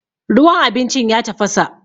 ruwan abincin ya tafasa